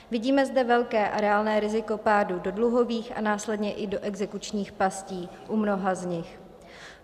Vidíme zde velké a reálné riziko pádu do dluhových a následně i do exekučních pastí u mnoha z nich.